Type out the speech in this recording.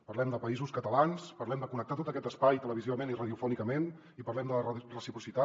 parlem de països catalans parlem de connectar tot aquest espai televisivament i radiofònicament i parlem de la reciprocitat